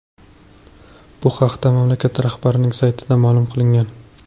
Bu haqda mamlakat rahbarining saytida ma’lum qilingan .